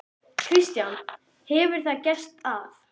Kristján: Hefur það gerst að?